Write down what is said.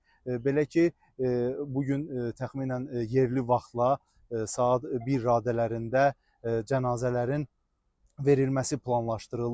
Belə ki, bu gün təxminən yerli vaxtla saat bir radələrində cənazələrin verilməsi planlaşdırılır.